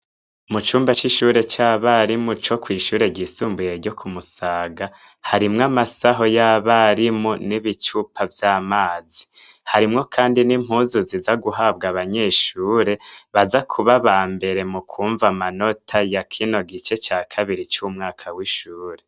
Mucumba c’ishure c’abarimu co kwi’ishure ryisumbuye ryo ku musaga, harimwo amasaho y’abarimu n’ibicupa vyamazi, harimwo kandi n’impuzu ziza guhabwa abanyeshure baza kuba bambere mu kuronka amanota ya kino gice ca kabiri c’umwaka w’ishure.